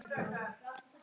Við söknum vinar í stað.